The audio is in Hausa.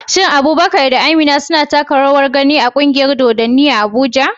Shin Abubakar da Amina suna taka rawar gani a kungiyar dodanni a Abuja?